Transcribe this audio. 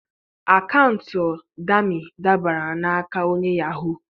akaụntụ Dami dabara n'aka onye yahoo.